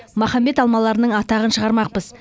махамбет алмаларының атағын шығармақпыз